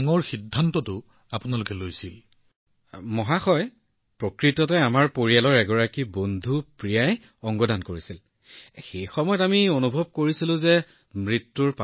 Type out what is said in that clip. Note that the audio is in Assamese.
মহোদয় প্ৰকৃততে প্ৰিয়াজী আমাৰ এগৰাকী পৰিয়ালৰ বন্ধুয়ে তেওঁৰ অংগ দান কৰিছিল আৰু আমিও তেওঁৰ পৰা অনুপ্ৰেৰণা পাইছিলো গতিকে সেই সময়ত আমি অনুভৱ কৰিছিলো যে শৰীৰটো পাঁচটা উপাদানৰ এক সমষ্টি